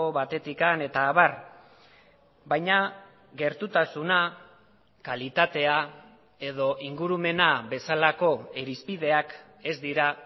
batetik eta abar baina gertutasuna kalitatea edo ingurumena bezalako irizpideak ez dira